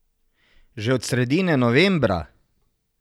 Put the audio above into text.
Že od sredine novembra!